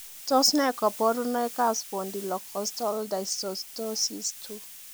Tos nee koborunoikab Spondylocostal dysostosis 2.